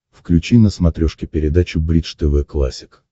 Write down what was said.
включи на смотрешке передачу бридж тв классик